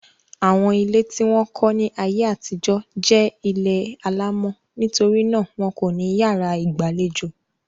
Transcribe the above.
Àwọn ilé tí wọ́n kọ́ ni ayé àtijọ́ jẹ́ ilé alámọ̀ nítorí náà wọn kò ní yàrá ìgbàlejò.